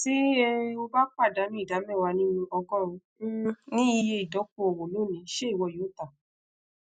ti um o ba padanu ida mewa ninu ogorun um ni iye idokoowo loni ṣe iwọ yoo ta